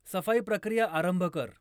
सफाई प्रक्रिया आरंभ कर